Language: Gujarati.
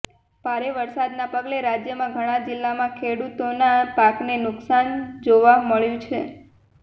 ભારે વરસાદના પગલે રાજ્યમાં ઘણા જિલ્લામાં ખેડૂતોના પાકને નુકસાન જોવા મળ્યું છે